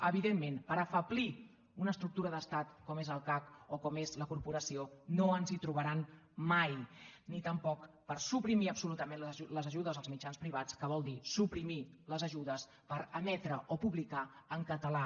evidentment per afeblir una estructura d’estat com és el cac o com és la corporació no ens hi trobaran mai ni tampoc per suprimir absolutament les ajudes als mitjans privats que vol dir suprimir les ajudes per emetre o publicar en català